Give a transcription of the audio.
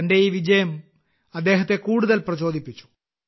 തന്റെ ഈ വിജയം അദ്ദേഹത്തെ കൂടുതൽ പ്രചോദിപ്പിച്ചു